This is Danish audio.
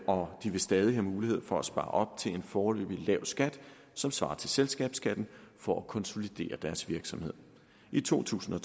og de vil stadig have mulighed for at spare op til en foreløbig lav skat som svarer til selskabsskatten for at konsolidere deres virksomhed i to tusind og